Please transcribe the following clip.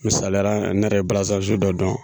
Misaliyara, ne yɛrɛ bɛ balansan dɔ dɔn